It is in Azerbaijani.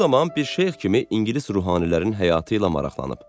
O zaman bir şeyx kimi ingilis ruhaniilərinin həyatı ilə maraqlanıb.